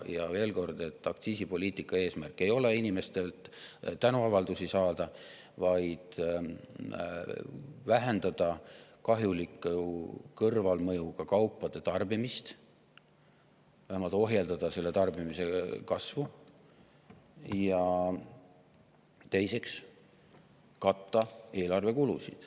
Ja veel kord: aktsiisipoliitika eesmärk ei ole inimestelt tänuavaldusi saada, vaid vähendada kahjulike kõrvalmõjudega kaupade tarbimist, vähemalt ohjeldada nende tarbimise kasvu, ja teiseks, katta eelarve kulusid.